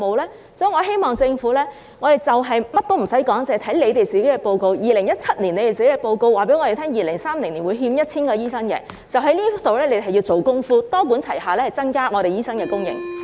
因此，我們認為政府無需考慮其他，單單看當局2017年的報告，即2030年會欠 1,000 名醫生，然後就此做工夫，多管齊下增加醫生的供應。